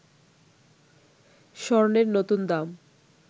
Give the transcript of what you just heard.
স্বর্ণের নতুন দাম